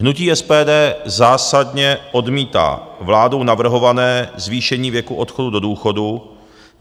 Hnutí SPD zásadně odmítá vládou navrhované zvýšení věku odchodu do důchodu.